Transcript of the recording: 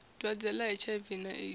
dwadze ḽa hiv na aids